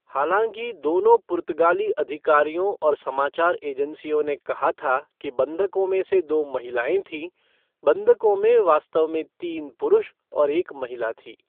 हालांकि दोनों पुर्तगाली अधिकारियों और समाचार एजेंसियों ने कहा था कि बंधकों में से दो महिलाएँ थीं, बंधकों में वास्तव में तीन पुरुष और एक महिला थी।